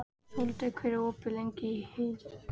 Sóldögg, hvað er opið lengi í HÍ?